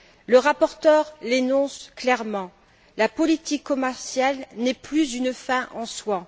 Le rapporteur l'énonce clairement La politique commerciale n'est plus une fin en soi.